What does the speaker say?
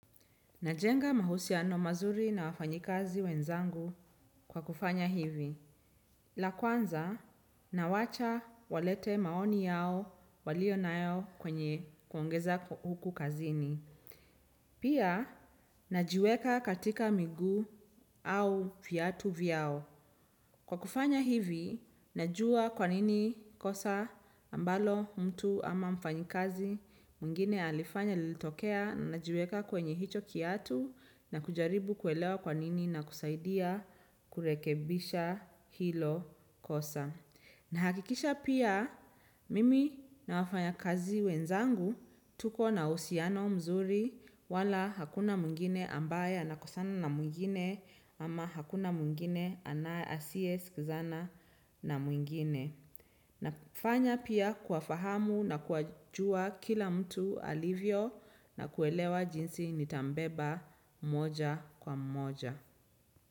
Najenga mahusiano mazuri na wafanyikazi wenzangu kwa kufanya hivi. La kwanza, nawacha walete maoni yao waliyonamayo kwenye kuongeza huku kazini. Pia, najiweka katika miguu au viatu vyao. Kwa kufanya hivi, najua kwa nini kosa ambalo mtu ama mfanyikazi. Mwingine alifanya lilitokea najiweka kwenye hicho kiatu na kujaribu kuelewa kwa nini na kusaidia kurekebisha hilo kosa. Nahakikisha pia mimi na wafanyikazi wenzangu tukona uhusiano mzuri wala hakuna mwingine ambaye anakosana na mwingine ama hakuna mwingine asiyesikizana na mwingine. Nafanya pia kuwafahamu na kuwajua kila mtu alivyo na kuelewa jinsi nitambeba mmoja kwa mmoja.